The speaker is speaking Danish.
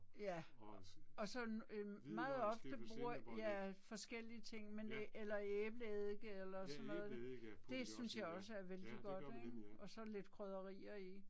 Ja og så øh meget ofte ja forskellige ting men eller æbleeddike eller sådan noget, det synes jeg også er vældig godt ik. Og så lidt krydderier i